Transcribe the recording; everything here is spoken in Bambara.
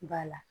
Ba la